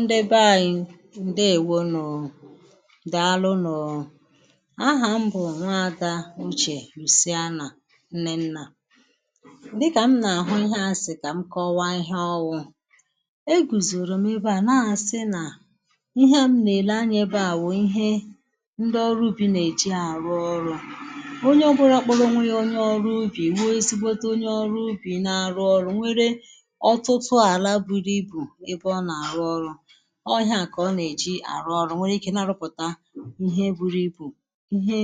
ndị bee anyị ǹdewo nu dàalụ nu ahà m bụ̀ nwa ada uchè ùsịanà nnennà dịkà m nà-àhụ ihea asị̇ m kà mkọwa ihe ọwụ̇ e gùzòrò m ebe à na-asi nà ihe m nà-èle anyȧ bụ ihe ndị ọrụ ubi nà-èji àrụ ọrụ onye ọbụla kporo onwe ya onye ọrụ ubì wụọ ezigbote onye ọrụ ubì na-arụ ọrụ nwere ótútú ala buru ibu ebe o na-aru oru o ihe à kà ọ nà-èji àrụ ọrụ nwe ike idi na-arụpụ̀ta ihe buru ibu ihe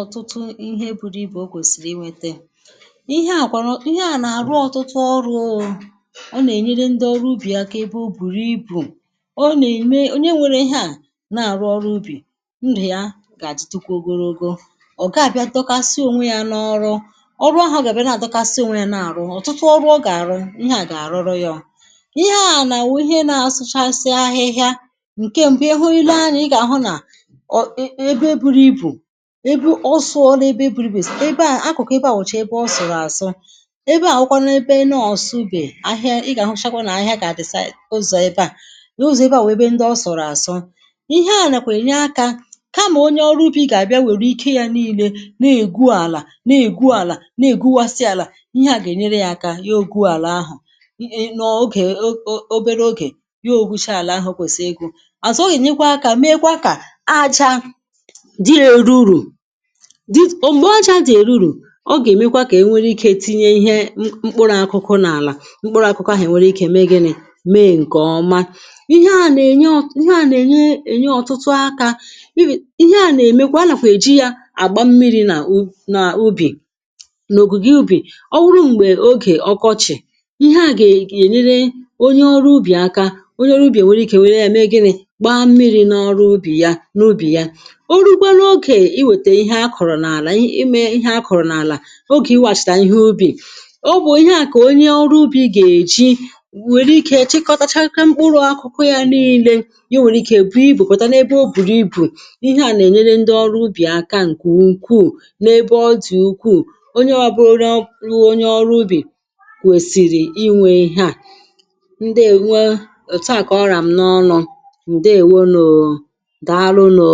ọ̀tụtụ ihe buru ibù o kwèsìrì inwėte ihe à kwanu ihi-na àrụ ọtụtụ ọrụ̇ụ̇ ọ nà-ènyere ndị ọrụ ubì aka na ebe o bùrù ibu̇ ọ nà-ème onye nwere ihe à na-àrụ ọrụ ubì ndù ya gà-àditụkwa ogologo ọ̀ ga-àbịa dọkasia ònwe ya na ọrụ ọrụ ahụ̇ o gà-àbịa na-àdọkasi ònwe ya na-àrụ ọ̀tụtụ ọrụ ọ gà-àrụ ihea ga aruru ya ihe ànàwụ ihe nȧ-asụchasi ahịhịa nke m̀gbè ihu i le anya ị gà-àhụ nà um ebe buru ibù ebu ọsụ̇ ọla ebe buru n’akụ̀kụ̀ ebe à nwọ̀chà ebe ọ sụ̀rụ̀ àsụ ebe à nọwụkwanụ ebe n’ọ̀sụbè ahịa ị gà-àhụchakwa nà ahịa kà àdịsa ụzọ̀ ebe à n’uzò ebe à wèe ebe ndị ọ sụ̀rụ̀ àsụ ihe ànàkwà ènye akȧ kamà onye ọrụ be ị gà-àbịa nwèrè ike yȧ niilė na-ègwu àlà na-ègwu àlà na-ègwu àsị àlà ihe à gà-ènyere yȧ aka ya ȯguàlà ahụ̀ ihe o oge obere oge ya gwucha àlà ahụ̇ kwèsị̀ri ịgwụ azụ̀ ọ gà-ènyekwa akȧ meekwa kà ajȧ dị èruru dị̇ òm̀gbè ajȧ dị̇ èururu ọ gà-èmekwa kà e nwere ike tinye ihe mkpụrụ akụkụ n’àlà mkpụrụ akụkụ ahị̀ nwere ike meegini mee ǹkè ọma ihe à nà-ènye ọ ihe à nà-ènye ọ̀tụtụ akȧ ihe à nà-èmekwa nàkwà eji yȧ àgba mmiri̇ nà u nà ubì nà òkùgio ubì ọ wuru m̀gbè ogè ọkọchị̀ ihe à gà-ènyere onye ọrụ ubì aka onye ọrụ ubì è nwere ike nwere yȧ megi̇rì gbaa mmiri̇ n’ọrụ ubì yȧ n’ubì yȧ orugbara ogè iwètè ihe a kọ̀rọ̀ n’àlà ime ihẹ a kọ̀rọ̀ n’àlà ogè iwàchàtà ihe ubì ọ bụ̀ ihe à kà onye ọrụ ubì gà-èji nwèrè ike chekọtachakwa mkpụrụ akụkụ yȧ niilė ihe o nwèrè ike bù ibùpòta n’ebe o bùrù ibù n’ihe à nà-ènyere ndị ọrụ ubì aka ǹkè ukwuù n’ebe ọ dị̀ ukwuù onye ọbụrụ onye ọrụ ubì kwèsìrì inwė ihe à ǹdewo òtu à kà ọrọ m n’ọnụ̇ ǹdewo nù daalụ nù